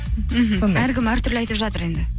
әркім әртүрлі айтып жатыр енді